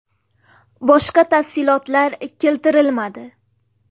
Boshqa tafsilotlar keltirilmadi.